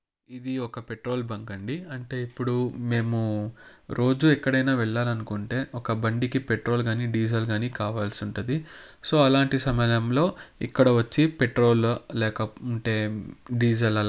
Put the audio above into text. ఇది ఒక petrol bunk అండి అంటే ఇప్పుడు మేము రోజూ ఎక్కడైనా వెళ్ళాలి అనుకుంటే ఒక బండికి పెట్రోల్ గానీ డీజిల్ గానీ కావాల్సి ఉంటది. సో అలాంటి సమయంలో ఇక్కడ వచ్చి పెట్రోల్ లేక ఉంటే డీజిల్ అలా--